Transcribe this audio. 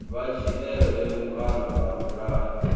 vha dzhielwe vhukando ha mulayo